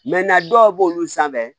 dɔw b'olu sanfɛ